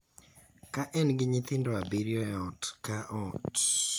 ka en gi nyithindo abiriyo e ot ka ot,